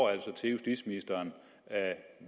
er altså til justitsministeren